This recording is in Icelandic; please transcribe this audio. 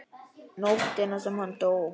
Nóttina sem hann dó?